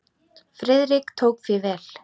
Friðrik tók því vel.